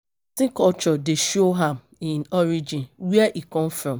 Pesin culture dey show am e origin, where e come from